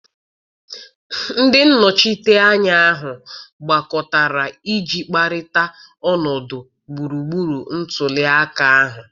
Ndị nnọchiteanya ahụ gbakọtara iji kparịta ọnọdụ gburugburu ntuli aka ahụ.